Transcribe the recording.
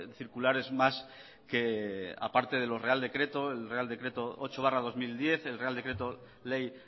circulares más que aparte de los real decreto el real decreto ocho barra dos mil diez el real decreto ley